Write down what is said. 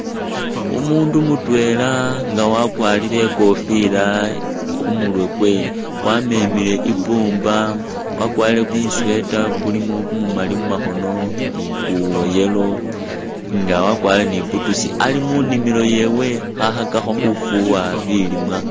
Umundu mutwela nga wakwarire i'kofila khu murwe kwe wamemile i'pumba wakwarire kumusweater kulimo kumumali mumakhono ni kwa yellow nga wakwarire ni boots. Ali munimilo yewe khakhakakho khufuwa bilimwa.